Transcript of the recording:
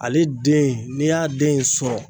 Ale den n'e y'a den sɔrɔ